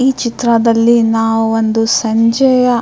ಈ ಚಿತ್ರದಲ್ಲಿ ನಾವು ಒಂದು ಸಂಜೆಯ --